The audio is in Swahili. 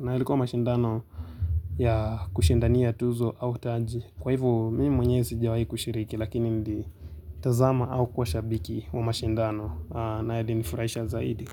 Na ilikuwa mashindano ya kushindania tuzo au taji. Kwa hivo mimi mwenyewe sijawai kushiriki lakini nili tazama au kuwa shabiki wa mashindano na yainifurahisha zaidi.